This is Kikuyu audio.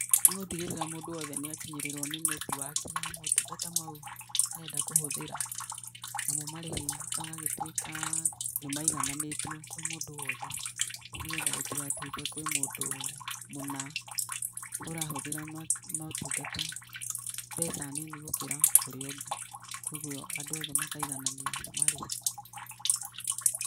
Nĩ gũtigĩrĩra mũndũ wothe nĩ akinyĩrĩrwo nĩ netiwaki ya motungata mau arenda kũhũthĩra. Namo marĩhi magagĩtuĩka nĩ maigananĩtio kwĩ mũndũ wothe, nĩ getha gũtigatuĩke kwĩ mũndũ mũna ũrahũthĩra motungata mbeca nini gũkĩra ũrĩa ũngĩ, kũguo andũ othe makaigananio nĩ marĩhi.